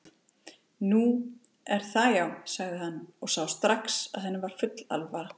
Nú. er það já, sagði hann og sá strax að henni var full alvara.